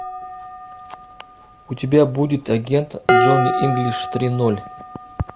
у тебя будет агент джонни инглиш три ноль